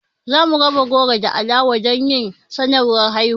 Za mu raba goro da alawa don yin sanarwar haihuwan